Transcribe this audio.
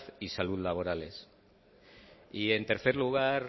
y salud laborales y en tercer lugar